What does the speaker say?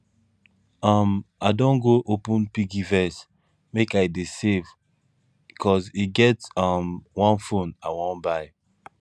um i don go open piggyvest make i dey save cos e get um one phone i wan buy